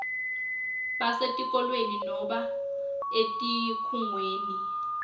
basetikolweni nobe etikhungweni